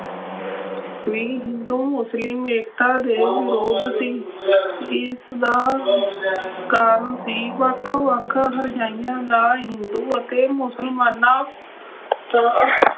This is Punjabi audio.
ਵੀ ਹਿੰਦੂ ਮੁਸਲਿਮ ਏਕਤਾ ਦੇ ਵਿਰੁੱਧ ਸੀ ਜਿਸਦਾ ਕਾਰਨ ਸੀ ਵੱਖ-ਵੱਖ ਹਰਜਾਈਆਂ ਦਾ ਹਿੰਦੂ ਅਤੇ ਮੁਸਲਮਾਨਾਂ